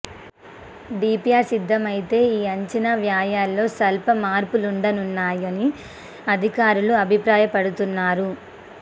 DPR సిద్ధమైతే ఈ అంచనా వ్యయాల్లో స్వల్ప మార్పులుండనున్నాయని అధికారులు అభిప్రాయపడుతున్నారు